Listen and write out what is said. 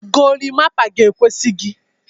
Golimapa ga-ekwesi gị.